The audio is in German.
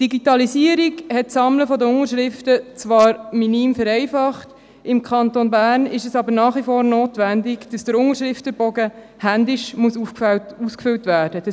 Zwar hat die Digitalisierung das Sammeln der Unterschriften minim vereinfacht, im Kanton Bern ist es aber nach wie vor notwendig, dass der Unterschriftenbogen händisch ausgefüllt werden muss.